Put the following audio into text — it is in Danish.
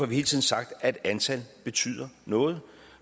vi hele tiden sagt at antallet betyder noget